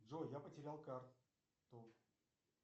джой я потерял карту